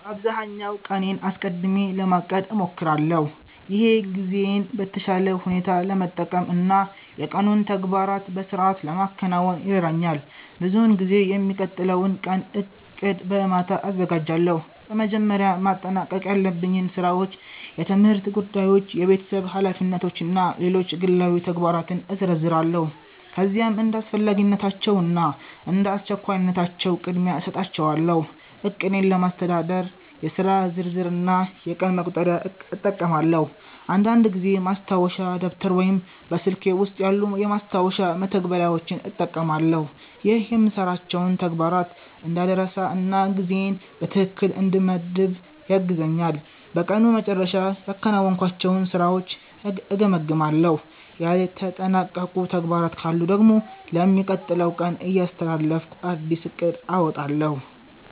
በአብዛኛው ቀኔን አስቀድሜ ለማቀድ እሞክራለሁ። ይህ ጊዜዬን በተሻለ ሁኔታ ለመጠቀም እና የቀኑን ተግባራት በሥርዓት ለማከናወን ይረዳኛል። ብዙውን ጊዜ የሚቀጥለውን ቀን ዕቅድ በማታ አዘጋጃለሁ። በመጀመሪያ ማጠናቀቅ ያለብኝን ሥራዎች፣ የትምህርት ጉዳዮች፣ የቤተሰብ ኃላፊነቶች እና ሌሎች ግላዊ ተግባራትን እዘረዝራለሁ። ከዚያም እንደ አስፈላጊነታቸው እና እንደ አስቸኳይነታቸው ቅድሚያ እሰጣቸዋለሁ። ዕቅዴን ለማስተዳደር የሥራ ዝርዝር እና የቀን መቁጠሪያ እጠቀማለሁ። አንዳንድ ጊዜ ማስታወሻ ደብተር ወይም በስልኬ ውስጥ ያሉ የማስታወሻ መተግበሪያዎችን እጠቀማለሁ። ይህ የምሠራቸውን ተግባራት እንዳልረሳ እና ጊዜዬን በትክክል እንድመድብ ያግዘኛል። በቀኑ መጨረሻ ያከናወንኳቸውን ሥራዎች እገመግማለሁ። ያልተጠናቀቁ ተግባራት ካሉ ደግሞ ለሚቀጥለው ቀን እያስተላለፍኩ አዲስ ዕቅድ አወጣለሁ።